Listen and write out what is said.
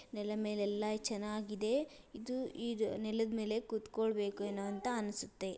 ನೆಲೆದ್ ಮೇಲೆ ಎಲ್ಲಾ ಚೆನ್ನಾಗ್ ಇದೆ. ಇದು ಈದ್ ನೆಲೆದ್ ಮೇಲೆ ಕುತಕೊಳಬೇಕೇನು ಅಂತಾ ಅನ್ಸುತ್ತೆ.